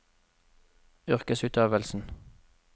yrkesutøvelsen